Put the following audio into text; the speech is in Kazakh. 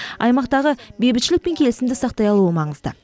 аймақтағы бейбітшілік пен келісімді сақтай алуы маңызды